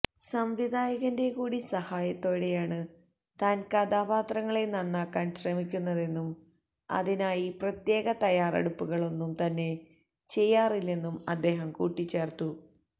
സംവിധായകന്റെ കൂടി സഹായത്തോടെയാണ് താൻ കഥാപാത്രങ്ങളെ നന്നാക്കാൻ ശ്രമിക്കുന്നതെന്നും അതിനായി പ്രത്യേക തയാറെടുപ്പുകൾ ഒന്നും തന്നെ ചെയ്യാറില്ലെന്നും അദ്ദേഹം കൂട്ടിച്ചേർത്തു